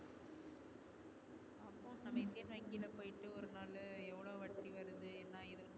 நம்ம இந்தியன் வங்கில போயிட்டு ஒருநாளு எவ்ளோ வட்டி வருது என்ன எது இருக்கும்